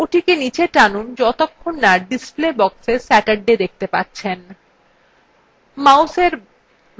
ওটিকে নীচে টানুন যতক্ষণ না পর্যন্ত display boxএ saturday দেখতে পাচ্ছেন